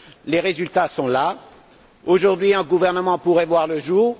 Les résultats sont là. Aujourd'hui, un gouvernement pourrait voir le jour.